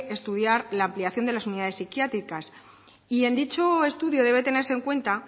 estudiar la ampliación de las unidades psiquiátricas en dicho estudio debe tenerse en cuenta